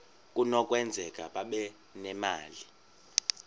kunokwenzeka babe nemali